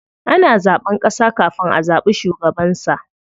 Ana zaɓen ƙasa kafin a zaɓi shugabansa.